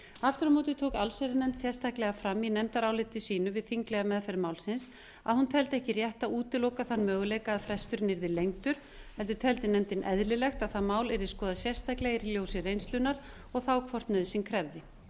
aftur á móti tók allsherjarnefnd sérstaklega fram í nefndaráliti sínu við þinglega meðferð málsins að hún teldi ekki rétt að útiloka þann möguleika að fresturinn yrði lengdur heldur teldi nefndin eðlilegt að það mál yrði skoðað sérstaklega í ljósi reynslunnar og hvort nauðsyn krefði